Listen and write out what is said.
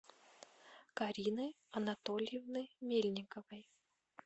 карины анатольевны мельниковой